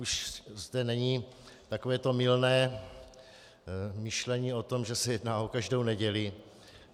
Už zde není takové to mylné myšlení o tom, že se jedná o každou neděli.